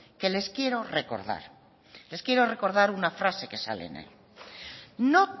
que les quiero recordar les quiero recordar una frase que sale en él no